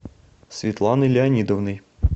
светланой леонидовной